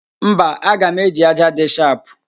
Mba, aga m eji ájá dị shapụ